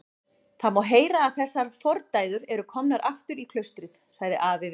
Það má heyra að þessar fordæður eru komnar aftur í klaustrið, sagði afi við